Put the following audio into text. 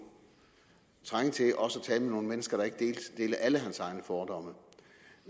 trænge til at tale med nogle mennesker der ikke deler alle hans egne fordomme